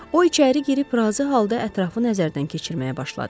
O içəri girib razı halda ətrafı nəzərdən keçirməyə başladı.